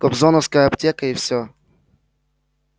кобзоновская аптека и все